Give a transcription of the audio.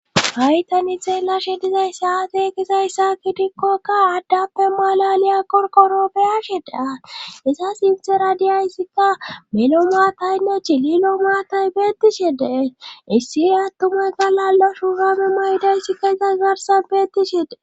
Haytani xeellashe dizayssa atekisayssa kitikkokka aaddappe malaliya qorkorobeyashe da issa sinthe radiyayssikka melo maataynne chililo maatay beettishedee issi attumay galalla shuhanun aydaysikka izas garsan beettishedee.